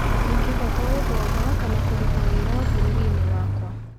Ndingĩhota gũthoma kana kũruta wĩra bũrũri-inĩ wakwa,